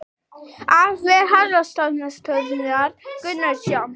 Af vef Hafrannsóknastofnunar Gunnar Jónsson.